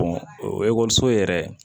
o ekɔliso yɛrɛ